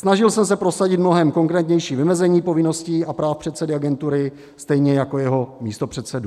Snažil jsem se prosadit mnohem konkrétnější vymezení povinností a práv předsedy agentury, stejně jako jeho místopředsedů.